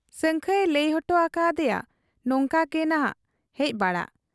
ᱥᱟᱹᱝᱠᱷᱟᱹᱭᱮ ᱞᱟᱹᱭ ᱚᱴᱚ ᱟᱠᱟ ᱟᱫᱮᱭᱟ ᱱᱚᱝᱠᱟ ᱜᱮᱱᱷᱟᱜ ᱮ ᱦᱮᱡ ᱵᱟᱲᱟᱜ ᱟ ᱾